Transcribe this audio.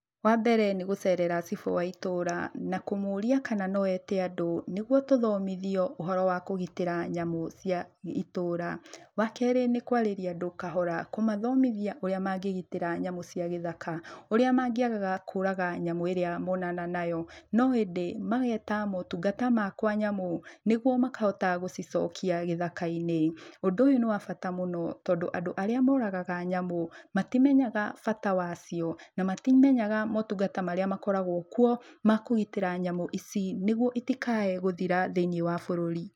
Wa mbere nĩ gũcerera cibũ wa itũũra na kũmũria kana no ete andũ nĩgwo tũthomithio ũhoro wa kũgitĩra nyamũ cia itũũra. Wa kerĩ nĩ kwarĩria andũ kahora, kũmathomithia ũrĩa mangĩgitĩra nyamũ cia gĩthaka, ũrĩa mangĩagaga kũraga nyamũ ĩria monana nayo, no ĩndĩ mageta motungata ma kwa nyamũ nĩgwo makahota gũcicokia gĩthaka-inĩ. Ũndũ ũyũ nĩ wa bata mũno tondũ andũ arĩa moragaga nyamũ matimenyaga bata wacio na matimenyaga motungata marĩa makoragwo kwo, ma kũgitĩra nyamũ ici nĩgwo itikae gũthira thĩiniĩ wa bũrũri.